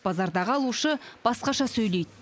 базардағы алушы басқаша сөйлейді